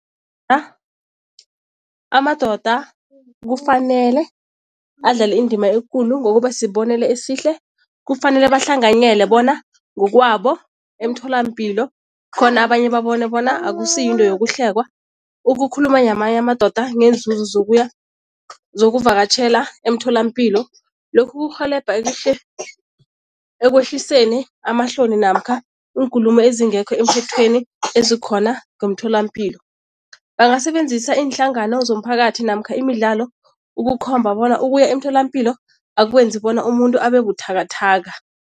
amadoda kufanele adlale indima ekulu ngokuba sibonelo esihle. Kufanele bahlanganyele bona ngokwabo emtholampilo khona abanye babone bona akusiyinto yokuhlekwa ukukhuluma namanye amadoda ngeenzuzo zokuya, zokuvakatjhela emtholampilo. Lokhu kurhelebha ekwehliseni amahloni namkha iinkulumo ezingekho emthethweni ezikhona ngomtholampilo. Bangasebenzisa iinhlangano zomphakathi namkha imidlalo ukukhomba bona ukuya emtholapilo akwenzi bona umuntu abe buthakathaka.